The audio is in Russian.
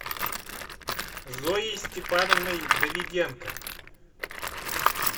зоей степановной давиденко